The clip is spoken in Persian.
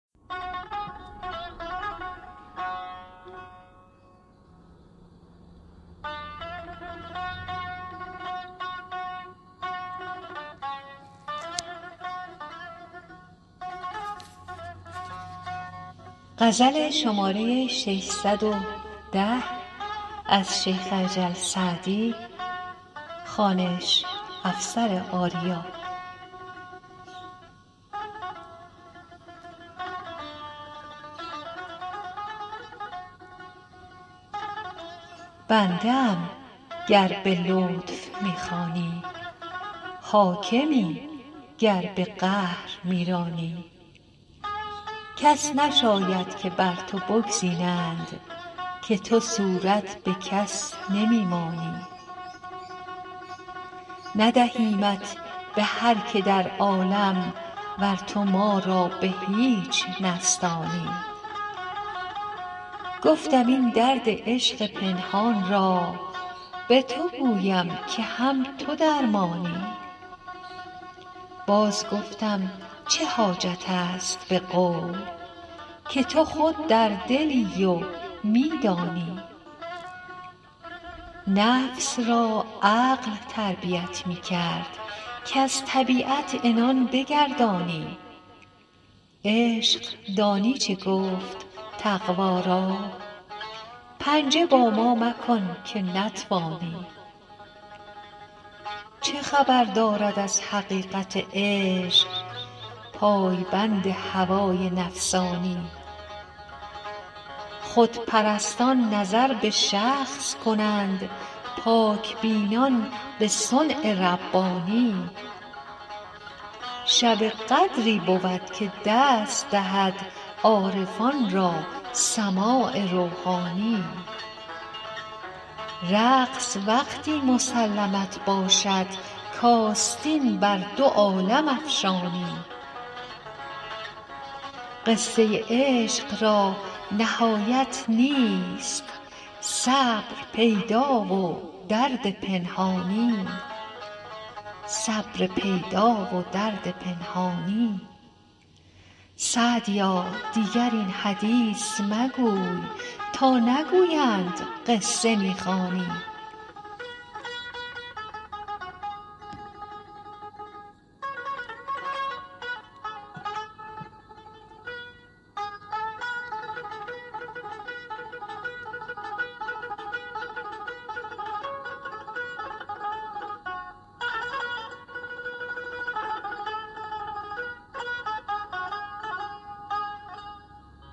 بنده ام گر به لطف می خوانی حاکمی گر به قهر می رانی کس نشاید که بر تو بگزینند که تو صورت به کس نمی مانی ندهیمت به هر که در عالم ور تو ما را به هیچ نستانی گفتم این درد عشق پنهان را به تو گویم که هم تو درمانی باز گفتم چه حاجت است به قول که تو خود در دلی و می دانی نفس را عقل تربیت می کرد کز طبیعت عنان بگردانی عشق دانی چه گفت تقوا را پنجه با ما مکن که نتوانی چه خبر دارد از حقیقت عشق پای بند هوای نفسانی خودپرستان نظر به شخص کنند پاک بینان به صنع ربانی شب قدری بود که دست دهد عارفان را سماع روحانی رقص وقتی مسلمت باشد کآستین بر دو عالم افشانی قصه عشق را نهایت نیست صبر پیدا و درد پنهانی سعدیا دیگر این حدیث مگوی تا نگویند قصه می خوانی